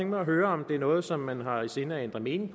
mig at høre om det er noget som man har i sinde at ændre mening